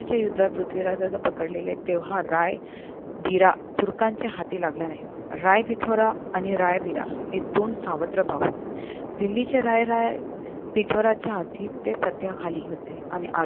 युद्धात पृथ्वीराजाला पकडले तेव्हा रायबिरा तुर्कांच्या हाती लागला नाही रायफितुरा आणि रायबीरा हे दोन सावत्र भाऊ असे दिल्ले चे राय राय फितुरांच्या अधिपत्याखाली होते आणि